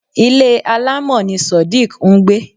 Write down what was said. Ilé alamọ ni sodiq ń gbé